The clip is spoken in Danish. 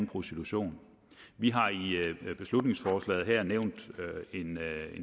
prostitution vi har i beslutningsforslaget her nævnt en